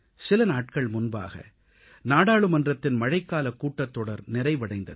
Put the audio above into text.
சில நாட்கள் முன்பாக நாடாளுமன்றத்தின் மழைக்காலக் கூட்டத்தொடர் நிறைவடைந்தது